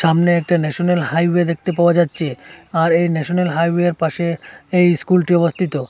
সামনে একটা national highway দেখতে পাওয়া যাচ্ছে আর এই ন্যাশনাল হাইওয়ের পাশে এই স্কুলটি অবস্থিত।